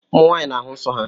Ụmụ nwaanyị na-ahụ nsọ́